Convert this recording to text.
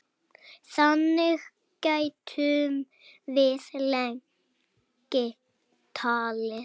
Þannig gætum við lengi talið.